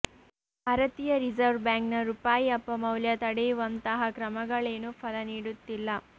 ಭಾರತೀಯ ರಿಸರ್ವ್ ಬ್ಯಾಂಕ್ನ ರೂಪಾಯಿ ಅಪಮೌಲ್ಯ ತಡೆಯುವಂತಹ ಕ್ರಮಗಳೇನೂ ಫಲ ನೀಡುತ್ತಿಲ್ಲ